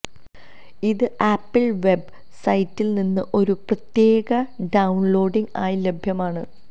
ഇത് Apple web സൈറ്റിൽ നിന്ന് ഒരു പ്രത്യേക ഡൌൺലോഡിംഗ് ആയി ലഭ്യമാണ്